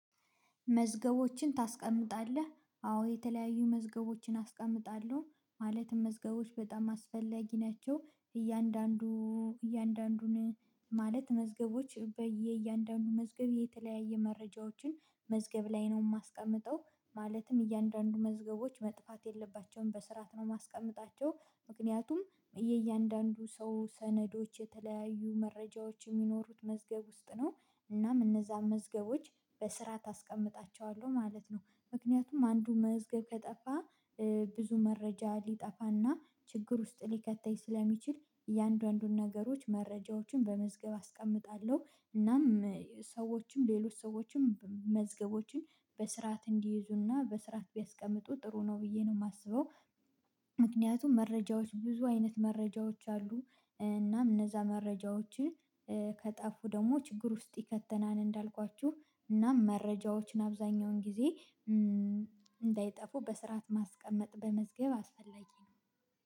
መዝገቦችን ታስቀምጣለህ? አዎ የተለያዩ መዝገቦችን አስቀምጣለሁ ማለትም መዝገቦች በጣም አስፈላጊ ናቸው እያንዳንዱ እያንዳንዱን ማለት መዝገቦች በየእያንዳንዱ መዝገብ የተለያየ መረጃዎችን መዝገብ ላይ ነው የማስቀምጠው ማለትም እያንዳንዱ መዝገቦች መጥፋት የለባቸውም በስርዓት ነው ማስቀመጣቸው ምክንያቱም የእያንዳንዱ ሰው ሰነዶች መረጃዎች የሚኖሩት መዝገብ ውስጥ ነው እናም እነዛን መዝገቦች ማለት ነው ምክንያቱም አንዱ መዝገብ ከጠፋ ብዙ መረጃ ሊጠፋና ችግር ውስጥ ሊከተኝ ስለሚችል እያንዳንዱን ነገሮች መረጃዎችን በመዝገብ አስቀምጣለሁ እናም ሰዎችም ሌሎች ሰዎችም መዝገቦችን በስርዓት እንዲይዙና በስርዓት ቢያስቀምጡ ጥሩ ነው ብዬ ነው የማስበው ምክንያቱም መረጃዎች ብዙ አይነት መረጃዎች አሉ እናም እነዛ መረጃዎችን ከጠፉ ደግሞ ችግር ውስጥ ይከተናል እንዳልኳችሁ እናም መረጃዎችን አብዛኛውን ጊዜ እንዳይጠፉ በስርዓት ማስቀመጥ በመዝገብ አስፈላጊ ነው